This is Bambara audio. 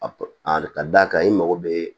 Ka d'a kan i mago bɛ